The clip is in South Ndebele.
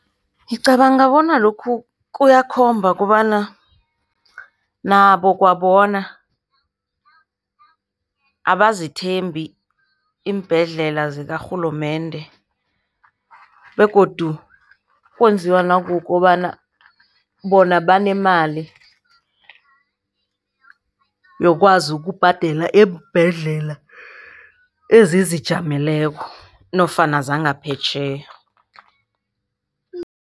Ngicabanga bona lokhu kuyakhomba kobana nabo kwabona, abazithembi iimbhedlela zakarhulumende begodu kwenziwa nakukukobana bona banemali yokwazi ukubhadela eembhedlela ezizijameleko nofana zangaphetjheya.